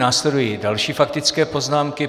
Následují další faktické poznámky.